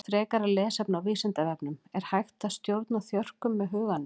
Frekara lesefni á Vísindavefnum Er hægt að stjórna þjörkum með huganum?